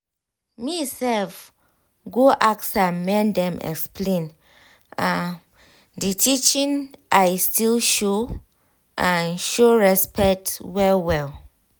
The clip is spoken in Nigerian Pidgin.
me self go ask make dem explain um the teaching i still show um show um respect um well well